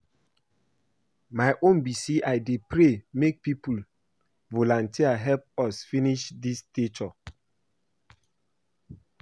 My own be say I dey pray make people volunteer help us finish dis statue